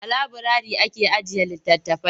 A laburari ake ajiye litattafai.